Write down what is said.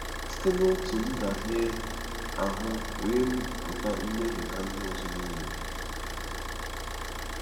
Site na otu ndahie ahụ wee pụta mmehie ha ndị ọzọ nile.